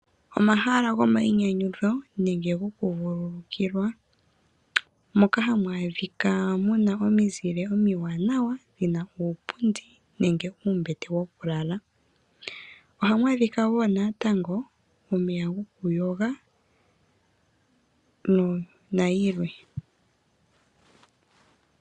Omahala gomainyanyudho nenge gokuvululukilwa moka hamu adhika muna omizile omiwaanawa mu na uupundi nenge uumbete wokulala. Ohamu adhika wo naatango omeya gokuyoga nayilwe.